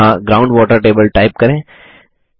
यहाँ ground water table type करें